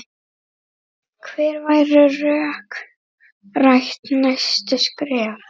Hver væru rökrétt næstu skref?